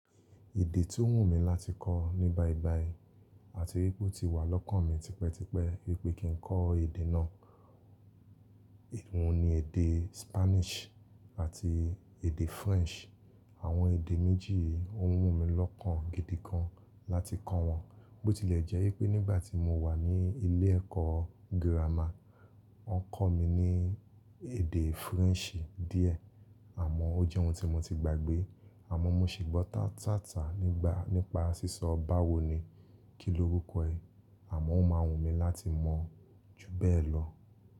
Èdè tí ó wù mí láti kọ́ ní bayii bayii àti wípé ó ti wà lọ́kàn mi tipẹ́tipẹ́ wípé kí n kọ́ èdè náà, òhun ni èdè Spanish àti èdè French. Àwọn èdè méjì i òhun wù mí lọ́kàn gidi gan láti kọ́ wọn, bó ti lè jẹ́ wípé nígbà tí mo wà ní ilé ẹ̀kọ́ gírámà, wọ́n kọ́ mi ní èdè French díẹ̀ àmọ́ ó jẹ́ ohun tí mo ti gbàgbé àmọ́ mo sì gbọ́ tatata nigba nípa sísọ báwo ni kí lórúkọ ẹ, àmọ́ ó máa wù mí láti mọ̀ ju bẹ́ẹ̀ lọ.